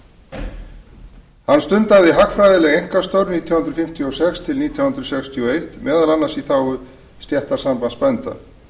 einkastörf nítján hundruð fimmtíu og sex til nítján hundruð sextíu og eitt meðal annars í þágu stéttarsambands bænda